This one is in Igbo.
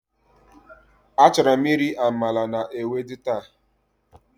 Achorom iri amala na ewedu ta.